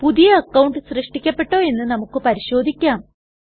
പുതിയ അക്കൌണ്ട് സൃഷ്ടിക്കപ്പെട്ടോ എന്ന് നമുക്ക് പരിശോധിക്കാം